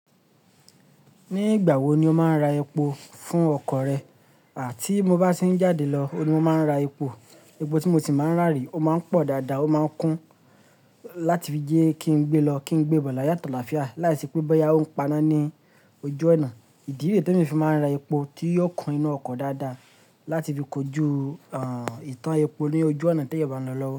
Ní ìgbà wo ni o máa ra epo fún ọkọ̀ rẹ? À tí mo bá ṣì ń jáde lọ ni mo máa ń ra epo. Epo tí mo sì máa ń rà rí o máa ń pọ̀ dáadáa, ó máa ń kún láti fi jẹ́ kí n gbé lọ, kí n gbé bọ̀ layo ati alaafia Láìsí pé báyìí a ó ń paná ní ojú ọnà. Ìdi re temi ì fi máa ń ra epo tí yóò kún inú ọkọ̀ dáadáa láti fi kojú, ah, ìtàn epo ní ojú ọnà tí ẹ̀yà bá ń lọ lọ́wọ́